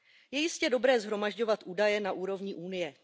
Je jistě dobré shromažďovat údaje na úrovni Unie.